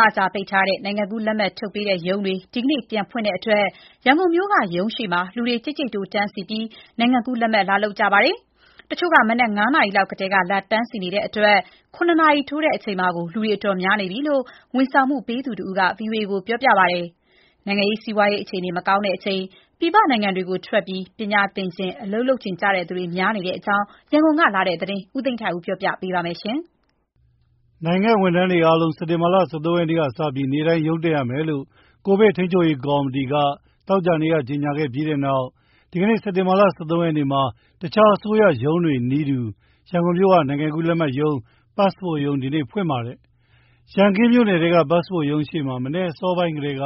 လကြာပိတ်ထားတဲ့ နိုင်ငံကူးလက်မှတ်ထုတ်ပေးတဲ့ရုံးတွေဒီနေ့ပြန်ဖွင့်တဲ့အတွက် ရန်ကုန်မြို့က ရုံးရှေ့မှာ လူတွေ ကြိတ်ကြိတ်တိုးတန်းစီပြီး နိုင်ငံကူးလက်မှတ်လာလုပ်ခဲ့ကြပါတယ်။ တချို့က မနက် ၅ နာရီလောက်ထဲ လာတန်းစီနေတဲ့အတွက် ၇ နာရီထိုးချိန်မှာကို လူတွေ အတော်များနေပြီလို့ ဝန်ဆောင်မှုပေးသူတယောက်က ဗီအိုအေကို ပြောပါတယ်။ နိုင်ငံရေး စီးပွားရေး အခြေအနေမကောင်းချိန် ပြည်ပနိုင်ငံတွေထွက်ပြီး ပညာသင်၊ အလုပ်လုပ်ချင်သူတွေ များနေတဲ့အကြောင်း ရန်ကုန်ကလာတဲ့သတင်း ကိုသိန်းထိုက်ဦးပြောပြပါမယ်။ နိုင်ငံ့ဝန်ထမ်းတွေအားလုံး စက်တင်ဘာ ၁၃ ရက်ကစပြီး နေ့တိုင်းရုံးတက်ရမယ်လို့ ကိုဗစ်ထိန်းချုပ်ရေးကော်မတီက သောကြာနေ့က ကြေညာပြီးတဲ့နောက် ဒီနေ့ စက်တင်ဘာ ၁၃ ရက်မှာ တခြားအစိုးရရုံးတွေနည်းတူ ရန်ကုန်မြို့က နိုင်ငံကူးလက်မှတ်ရုံး (Passport ရုံး) ဒီနေ့ပြန်ဖွင့်ပါတယ်။ ရန်ကင်းမြို့နယ်ထဲက Passport ရုံးရှေ့မှာ မနက်အစောပိုင်းထဲက